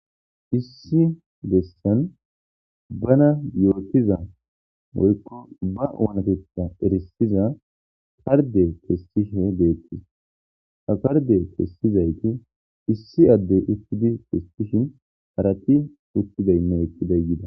Issi bessani bana yotiza woyiko bannatetha erisida karide kesishe betesi ha karide kesidayiti issi adeyi utishin harati utidayinne eqidayi betesi